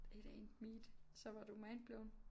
It ain't meat så var du mindblown